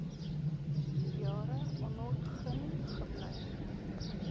jare onontgin gebly